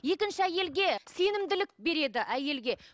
екінші әйелге сенімділік береді әйелге